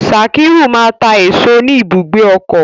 Sakiru ma ta èso ni ibùgbé ọkọ.